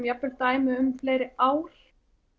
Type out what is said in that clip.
jafn vel dæmi um fleiri ár